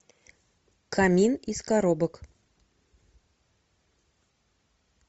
камин из коробок